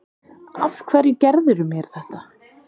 Af hverju gerðirðu mér þetta?